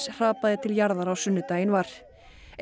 hrapaði til jarðar á sunnudaginn var